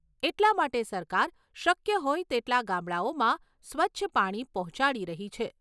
એટલા માટે સરકાર શક્ય હોય તેટલા ગામડાઓમાં સ્વચ્છ પાણી પહોંચાડી રહી છે.